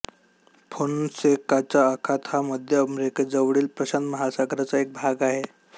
फोन्सेकाचा आखात हा मध्य अमेरिकेजवळील प्रशांत महासागराचा एक भाग आहे